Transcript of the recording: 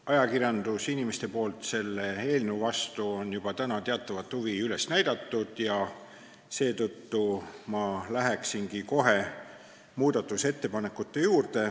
Ajakirjandusinimesed on selle eelnõu vastu juba teatavat huvi üles näidanud ja seetõttu ma lähengi kohe muudatusettepanekute juurde.